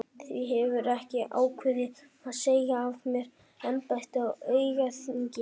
Því hef ég ákveðið að segja af mér embættinu á aukaþingi.